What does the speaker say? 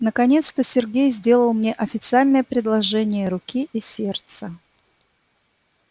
наконец-то сергей сделал мне официальное предложение руки и сердца